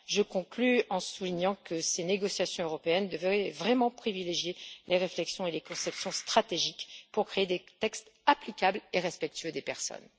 Je conclus en soulignant que ces négociations européennes devraient vraiment privilégier les réflexions et les conceptions stratégiques pour créer des textes applicables et respectueux des personnes.